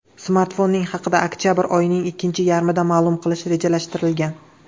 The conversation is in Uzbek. Smartfonning haqida oktabr oyining ikkinchi yarmida ma’lum qilish rejalashtirilgan.